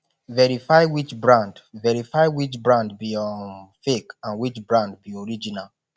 verify which brand verify which brand be um fake and which brand be original